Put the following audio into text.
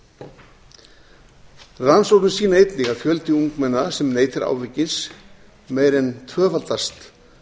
rannsóknir sýna einnig að fjöldi ungmenna sem neytir áfengis meira en tvöfaldast